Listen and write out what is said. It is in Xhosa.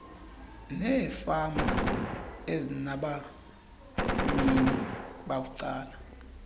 neefama ezinabanini babucala